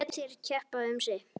Lét þær keppa um sig.